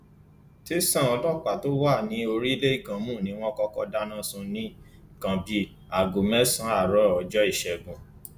tẹsán ọlọpàá tó wà ní orílẹ ìgànmù ni wọn kọkọ dáná sun ní nǹkan bíi aago mẹsànán àárọ ọjọ ìṣẹgun